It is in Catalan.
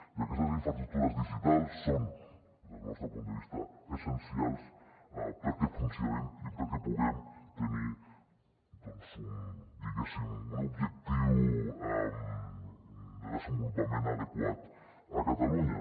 i aquestes infraestructures digitals són des del nostre punt de vista essencials perquè funcionem i perquè puguem tenir un objectiu de desenvolupament adequat a catalunya